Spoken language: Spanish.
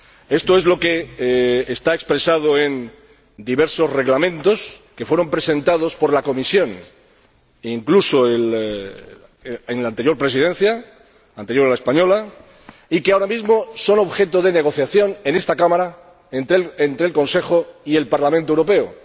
Esto es lo que está expresado en diversos reglamentos que fueron presentados por la Comisión, incluso en la anterior Presidencia, la anterior a la española, y que ahora mismo son objeto de negociación en esta Cámara entre el Consejo y el Parlamento Europeo.